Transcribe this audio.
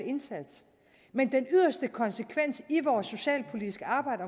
indsats men den yderste konsekvens i vores socialpolitiske arbejde